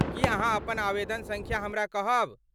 की अहाँ अपन आवेदन सङ्ख्या हमरा कहब?